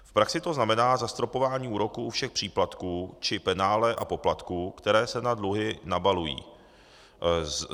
V praxi to znamená zastropování úroků u všech příplatků či penále a poplatků, které se na dluhy nabalují.